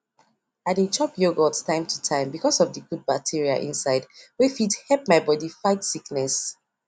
i dey chop yogurt time to time because of di good bacteria inside wey fit help my body fight sickness